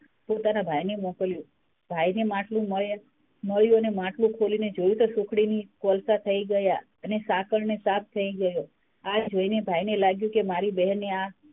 પોતાનાં ભાઈને મોકલ્યું ભાઈને માટલું મળ્યું અને માટલું ખોલીને જોયું તો સુખડીની કોલસાં થય ગયાં અને સાકડ ને સાપ થય ગયો આ જોઈને ભાઈ ને લાગ્યું કે મારી બહેને આ,